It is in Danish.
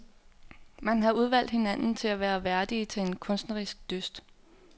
Man har udvalgt hinanden til at være værdige til en kunstnerisk dyst.